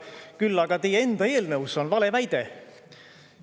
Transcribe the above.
Küll aga teie enda eelnõus on valeväide.